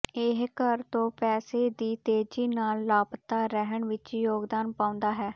ਇਹ ਘਰ ਤੋਂ ਪੈਸੇ ਦੀ ਤੇਜ਼ੀ ਨਾਲ ਲਾਪਤਾ ਰਹਿਣ ਵਿੱਚ ਯੋਗਦਾਨ ਪਾਉਂਦਾ ਹੈ